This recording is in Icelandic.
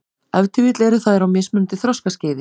Ef til vill eru þær á mismunandi þroskaskeiði.